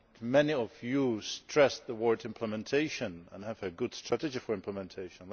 Many of you stressed the word implementation' and have a good strategy for implementation.